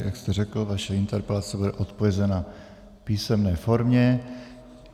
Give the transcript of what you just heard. Jak jste řekl, vaše interpelace bude odpovězena v písemné formě.